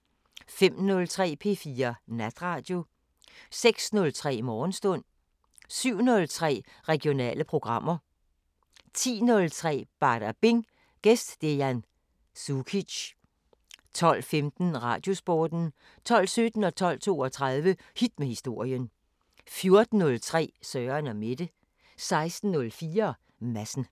05:03: P4 Natradio 06:03: Morgenstund 07:03: Regionale programmer 10:03: Badabing: Gæst Dejan Cukic 12:15: Radiosporten 12:17: Hit med historien 12:32: Hit med historien 14:03: Søren & Mette 16:04: Madsen